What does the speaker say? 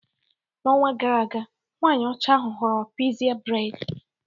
N'ọnwa gara aga, nwanyị ọcha ahụ họọrọ pixie braid